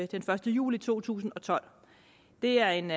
den første juli to tusind og tolv det er en